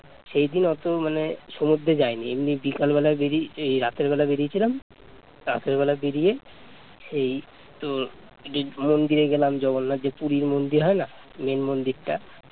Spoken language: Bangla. সেই দিন অতো মানে সমুদ্রে যায়নি এমনি বিকেলবেলা বেরিয়ে এই রাতের বেলা বেরিয়েছিলাম রাতের বেলা বেরিয়ে সেই তোর মন্দিরে গেলাম জগন্নাথের এর যে পুরীর মন্দির হয় না মেইন মন্দির টা